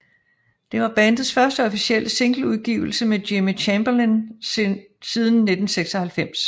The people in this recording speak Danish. Det var bandets første officielle singleudgivelse med Jimmy Chamberlin siden 1996